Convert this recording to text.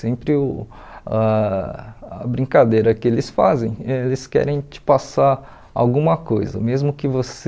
Sempre o ah a brincadeira que eles fazem, eles querem te passar alguma coisa, mesmo que você...